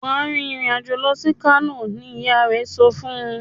Wá rìn ìrìn àjò lọ sì kano! ní ìyá rẹ sọfún.